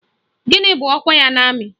Gịnị bụ ọkwa ya n'amị?